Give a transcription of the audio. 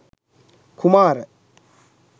kumara